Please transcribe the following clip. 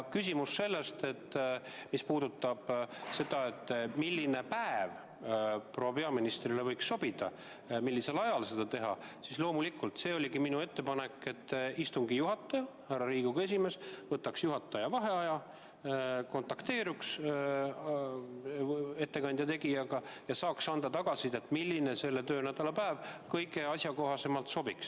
Mis puudutab seda, milline päev proua peaministrile võiks sobida, mis ajal seda teha, siis minu ettepanek oligi, et istungi juhataja, härra Riigikogu esimees, võtaks juhataja vaheaja, kontakteeruks ettekande tegijaga ja saaks anda meile tagasisidet, milline selle töönädala päev kõige paremini sobib.